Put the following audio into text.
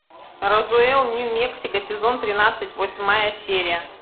розуэлл нью мексико сезон тринадцать восьмая серия